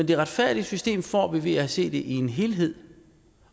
det retfærdige system får vi ved at se det i en helhed